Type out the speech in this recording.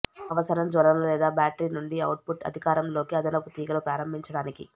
అవసరం జ్వలన లేదా బ్యాటరీ నుండి అవుట్పుట్ అధికారంలోకి అదనపు తీగలు ప్రారంభించడానికి